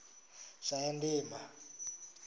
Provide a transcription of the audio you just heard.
shayandima